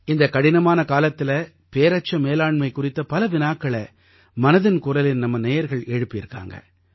இந்த கடினமான காலத்தில பேரச்ச மேலாண்மை குறித்த பல வினாக்களை மனதின் குரலின் நம்ம நேயர்கள் எழுப்பியிருக்காங்க